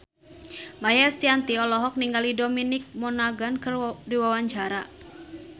Maia Estianty olohok ningali Dominic Monaghan keur diwawancara